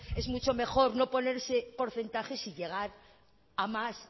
es mucho mejor no ponerse porcentajes y llegar a más